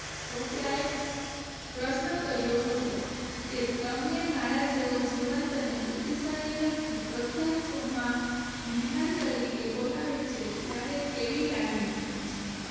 સૉફયાએ પ્રશ્ન કર્યો હતો કે તમને મારા જેવો જેવો બુદ્ધિશાળી વ્યક્તિ પ્રખ્યાત શો માં મહેમાન તરીકે બોલાવે છે ત્યારે કેવી લાગણી થાય છે